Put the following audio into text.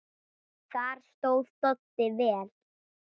Þar stóð Doddi vel.